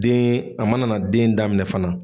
Den a mana na den daminɛ fana